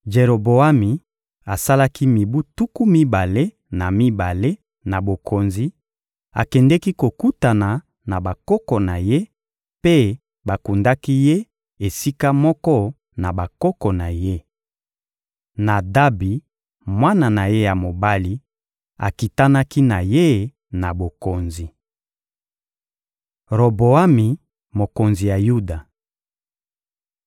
Jeroboami asalaki mibu tuku mibale na mibale na bokonzi, akendeki kokutana na bakoko na ye, mpe bakundaki ye esika moko na bakoko na ye. Nadabi, mwana na ye ya mobali, akitanaki na ye na bokonzi. Roboami, mokonzi ya Yuda (2Ma 12.13-14)